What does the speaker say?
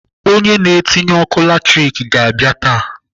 Onye na-etinye ọkụ latrik ga-abịa taa.